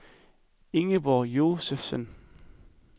Ingeborg Josefsen